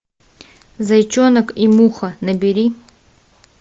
зайчонок и муха набери